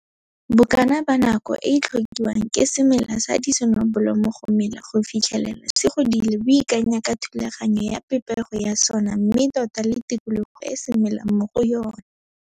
Bokana ba nako e e tlhokiwang ke semela sa disonobolomo go mela go fitlhelela se godile bo ikanya ka thulaganyo ya pepego ya sona mme tota le tikologo e se melang mo go yona.